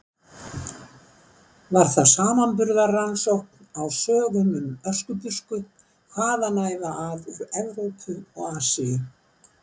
Var það samanburðarrannsókn á sögum um Öskubusku hvaðanæva að úr Evrópu og Asíu.